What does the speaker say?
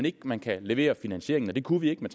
ikke man kan levere finansieringen og det kunne vi ikke med